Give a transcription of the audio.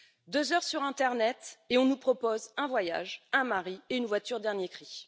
Deux heures sur l'internet, et on nous propose un voyage, un mari et une voiture dernier cri.